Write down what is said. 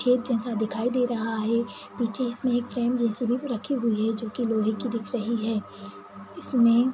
छेद जैसा दिखाई दे रहा है पीछे इसमें एक फ्रेम जैसी भी रखी हुई है जो की लोहे की दिख रही है। इसमें --